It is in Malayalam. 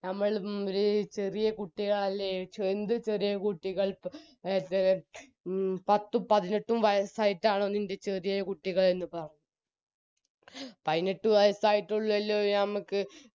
ഞമ്മൾ മ് ഒര് ചെറിയ കുട്ടികളല്ലേ എന്ത് ചെറിയ കുട്ടികൾ എ പെ പെ മ് പത്തും പതിനെട്ടും വയസ്സായിട്ടാണോ നിൻറെ ചെറിയെ കുട്ടികൾ എന്ന് പറഞ്ഞു പയിനെട്ട് വയസ്സായിട്ടേ ഉള്ളെല്ലോ ഞമ്മക്